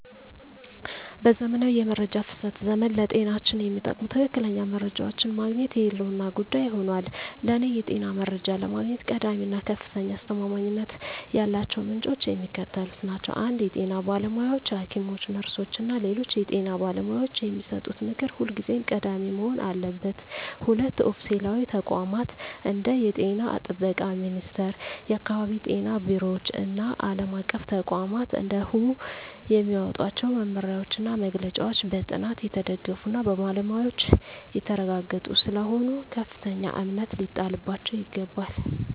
በዘመናዊው የመረጃ ፍሰት ዘመን፣ ለጤንነታችን የሚጠቅሙ ትክክለኛ መረጃዎችን ማግኘት የህልውና ጉዳይ ሆኗል። ለእኔ የጤና መረጃ ለማግኘት ቀዳሚ እና ከፍተኛ አስተማማኝነት ያላቸው ምንጮች የሚከተሉት ናቸው 1) የጤና ባለሙያዎች: ሐኪሞች፣ ነርሶች እና ሌሎች የጤና ባለሙያዎች የሚሰጡት ምክር ሁልጊዜም ቀዳሚ መሆን አለበት። 2)ኦፊሴላዊ ተቋማት: እንደ የጤና ጥበቃ ሚኒስቴር፣ የአካባቢ ጤና ቢሮዎች እና ዓለም አቀፍ ተቋማት (እንደ WHO) የሚያወጧቸው መመሪያዎችና መግለጫዎች በጥናት የተደገፉና በባለሙያዎች የተረጋገጡ ስለሆኑ ከፍተኛ እምነት ሊጣልባቸው ይገባል።